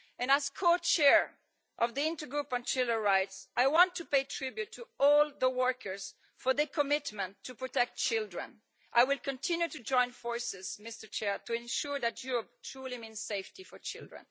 As co chair of the Intergroup on Children's Rights, I want to pay tribute to all the workers for their commitment to protect children. I will continue to join forces to ensure that Europe truly means safety for children.